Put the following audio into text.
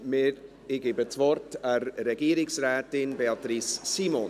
Ich gebe das Wort der Regierungsrätin, Beatrice Simon.